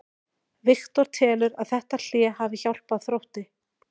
Viktor telur að þetta hlé hafi hjálpað Þrótti.